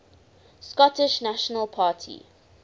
scottish national party